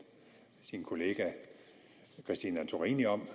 kollega fru christine antorini om